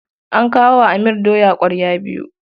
An kawo wa Amir doya ƙwarya biyu.